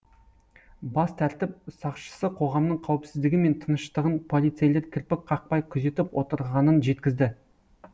бас тәртіп сақшысы қоғамның қауіпсіздігі мен тыныштығын полицейлер кірпік қақпай күзетіп отырғанын жеткізді